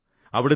അവിടത്തെ കെ